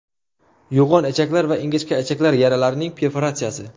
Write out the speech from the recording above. Yo‘g‘on ichaklar va ingichka ichak yaralarining perforatsiyasi.